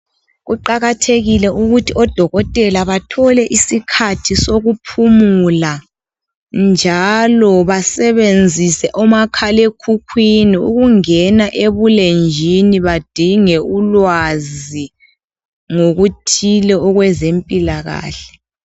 Kuqakathekile ukuthi odokotela bathole isikhathi sokuphumula njalo basebenzise omakhalekhukhwini ukungena ebulenjini badinge ulwazi ngokuthile okwezempilakahle.